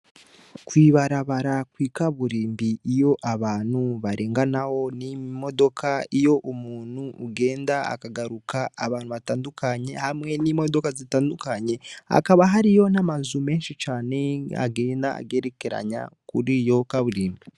Kwibarabara kwikaburimbi iyo abantu barenganaho n'imodoka iyo umuntu ugenda akagaruka abantu batandukanye hamwe n'imodoka zitandukanye akaba hariyo n'amazu menshi cane agenda agerekeranya kuri yo kaburimbi.